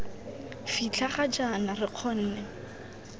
fitlha ga jaana re kgonne